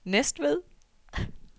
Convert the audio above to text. Næstved